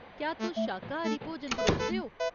क्या तुस शाकाहारी भोजन परोसदे ओ ?